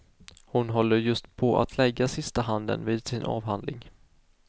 Hon håller just på att lägga sista handen vid sin avhandling.